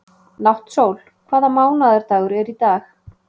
Náttsól, hvaða mánaðardagur er í dag?